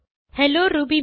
hello Ruby